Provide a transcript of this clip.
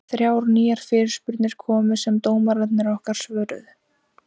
Þrjár nýjar fyrirspurnir komu sem dómararnir okkar svöruðu.